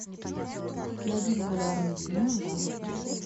найди популярные фильмы в жанре путешествие